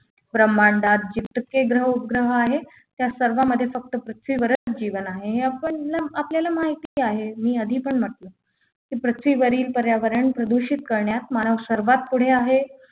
ब्रह्मांडात जितके ग्रह उपग्रह आहेत त्या सर्वांमध्ये फक्त पृथ्वीवरच जीवन आहे हे आपण आपल्याला माहिती आहे मी आधी पण म्हटलं पृथ्वीवरील पर्यावरण प्रदूषित करण्यात मानव सर्वात पुढे आहे